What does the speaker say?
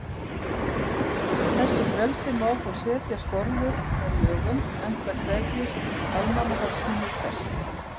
Þessu frelsi má þó setja skorður með lögum, enda krefjist almannahagsmunir þess.